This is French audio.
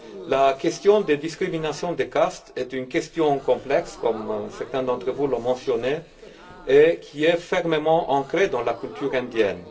La question des discriminations de caste est une question complexe, comme certains d'entre vous l'ont mentionné, et qui est fermement ancrée dans la culture indienne.